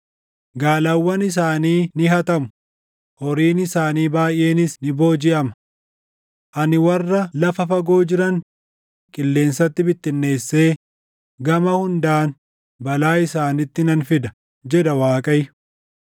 “Gaalawwan isaanii ni hatamu, horiin isaanii baayʼeenis ni boojiʼama. Ani warra lafa fagoo jiran qilleensatti bittinneessee gama hundaan balaa isaanitti nan fida” jedha Waaqayyo.